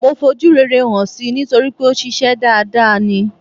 Mo fojú rere hàn si nítorípé òṣìṣę dada ni.